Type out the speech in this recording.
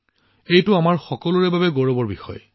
এইটো আমাৰ সকলোৰে বাবে গৌৰৱৰ বিষয়